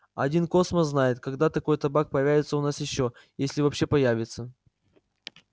один космос знает когда такой табак появится у нас ещё если вообще появится